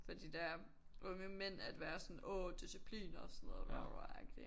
Fordi de der unge mænd at være sådan åh disciplin og sådan noget bla bla bla agtig